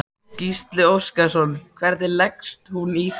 Gísli Óskarsson: Hvernig leggst hún í þig?